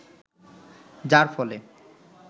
যার ফলে